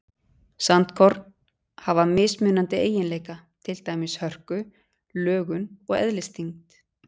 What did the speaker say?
Sandkorn hafa mismunandi eiginleika, til dæmis hörku, lögun og eðlisþyngd.